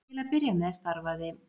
Til að byrja með starfaði